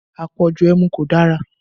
Àpọ̀jù ẹmu kò dára